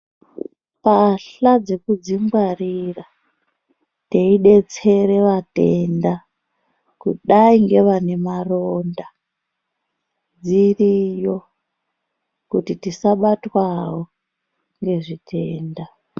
Mbahla dzekuzvingwarira meidetsera vatenda kudai nevane maronda dziriyo kuti tisabatwa wo nezvitenda.